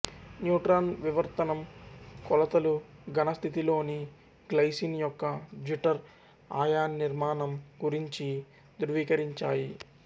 neutron వివర్తనం కొలతలుఘన స్థితిలోని గ్లైసిన్ యొక్క జ్విటర్ అయాన్నిర్మాణం గురించి ధ్రువీకరించాయి